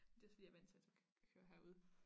Det fordi jeg vandt til at tage køre herude